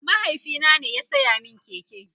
mahaifina ne ya saya min keke